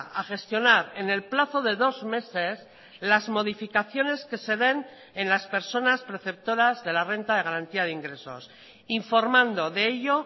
a gestionar en el plazo de dos meses las modificaciones que se den en las personas preceptoras de la renta de garantía de ingresos informando de ello